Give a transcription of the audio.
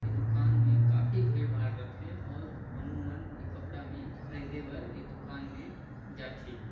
ई दूकान में काफ़ी भीड़-भाड़ रथै और हमू मन ई कपड़ा में खरीदे बर ई दूकान में जाथे।